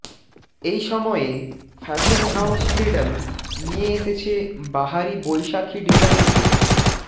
এই সময়ে fashion house Freedom নিয়ে এসেছে বাহারি বৈশাখী ডিজাইনের